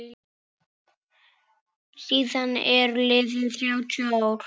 Síðan eru liðin þrjátíu ár.